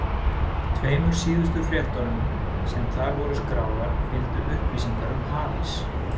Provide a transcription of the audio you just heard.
Tveimur síðustu fréttunum, sem þar voru skráðar, fylgdu upplýsingar um hafís.